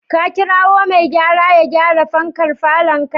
Ka kirawo mai gyara ya gyara fankar falonka?